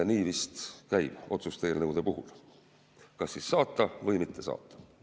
Nii vist käib otsuse eelnõude puhul: kas saata või mitte saata.